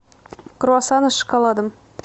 круассаны с шоколадом